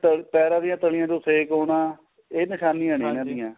ਤ ਪੈਰਾ ਦੀਆਂ ਤਲੀਆਂ ਨੂੰ ਸੇਕ ਆਉਣਾ